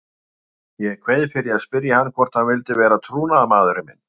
Ég kveið fyrir að spyrja hann hvort hann vildi vera trúnaðarmaðurinn minn.